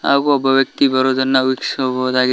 ಹಾಗೂ ಒಬ್ಬ ವ್ಯಕ್ತಿ ಬರುವುದನ್ನ ವೀಕ್ಷಿಸಬಹುದಾಗಿದೆ.